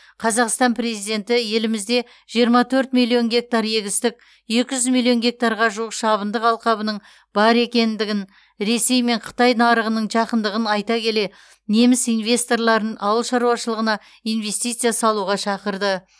қазақстан президенті елімізде жиырма төрт миллион гектар егістік екі жүз миллион гектарға жуық шабындық алқабының бар екендігін ресей мен қытай нарығының жақындығын айта келе неміс инвесторларын ауыл шаруашылығына инвестиция салуға шақырды